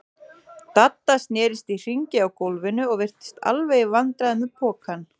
Dadda snerist í hringi á gólfinu og virtist alveg í vandræðum með pokann.